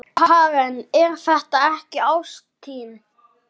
Karen: Er það ekki ástin?